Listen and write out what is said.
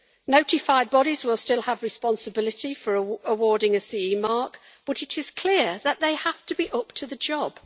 Notified bodies will still have responsibility for awarding a CE mark, but it is clear that these have to be up to the job.